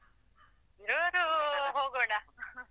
ಇರೋರು ಹೋಗೋಣ .